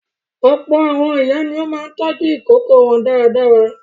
Ọ̀pọ̀ àwọn ìyá ni ó máa ń tọ́jú àwọn ìkókó wọn dáradára.